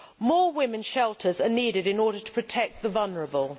More women's shelters are needed in order to protect the vulnerable.